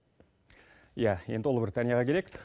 иә енді ұлыбританияға келейк